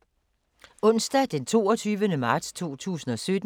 Onsdag d. 22. marts 2017